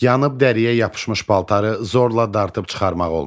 Yanıb dəriyə yapışmış paltarı zorla dartıb çıxarmaq olmaz.